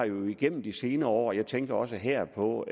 jo igennem de senere år jeg tænker også her på